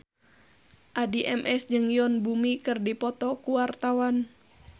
Addie MS jeung Yoon Bomi keur dipoto ku wartawan